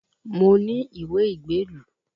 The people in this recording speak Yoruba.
Mo ní ìwé ìgbélu